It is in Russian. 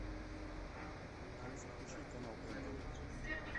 алиса включи канал нтв